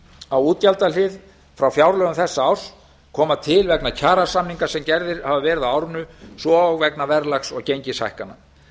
á útgjaldahlið frá fjárlögum þessa árs koma til vegna kjarasamninga sem gerðir hafa verið á árinu svo og vegna verðlags og gengishækkana hér